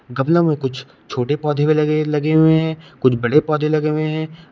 गमलों में कुछ छोटे पौधे भी लगे लगे हुए हैं कुछ बड़े पौधे लगे हुए हैं।